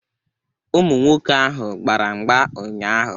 Ụmụ nwoke ahụ gbara mgba ụnyaahụ.